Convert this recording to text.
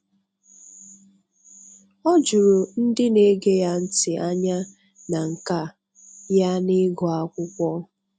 O juru ndị na-ege ya ntị anya na nka ya n'ịgụ akwụkwọ.